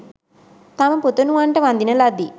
තම පුතනුවන්ට වඳින ලදී.